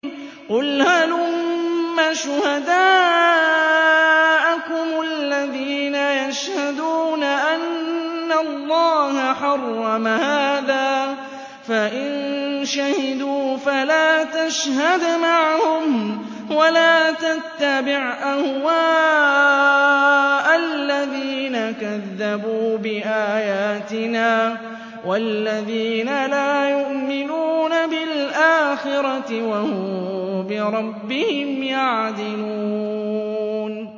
قُلْ هَلُمَّ شُهَدَاءَكُمُ الَّذِينَ يَشْهَدُونَ أَنَّ اللَّهَ حَرَّمَ هَٰذَا ۖ فَإِن شَهِدُوا فَلَا تَشْهَدْ مَعَهُمْ ۚ وَلَا تَتَّبِعْ أَهْوَاءَ الَّذِينَ كَذَّبُوا بِآيَاتِنَا وَالَّذِينَ لَا يُؤْمِنُونَ بِالْآخِرَةِ وَهُم بِرَبِّهِمْ يَعْدِلُونَ